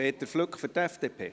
Peter Flück für die FDP.